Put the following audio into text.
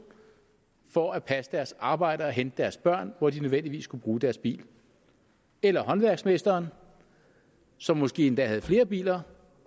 for at passe deres arbejde og hente deres børn hvor de nødvendigvis skulle bruge deres bil eller håndværksmesteren som måske endda havde flere biler